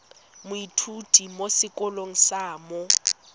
moithuti mo sekolong sa mo